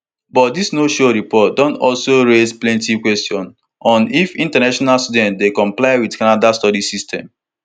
but dis no show report don also raise plenti questions on if international students dey comply wit canada study system